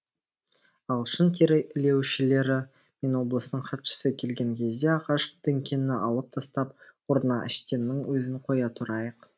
ағылшын тері илеушілері мен облыстың хатшысы келген кезде ағаш діңкені алып тастап орнына әштеннің өзін қоя тұрайық